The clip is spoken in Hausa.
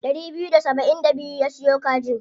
Ɗari biyu da saba'in da biyu ya siyo kajin.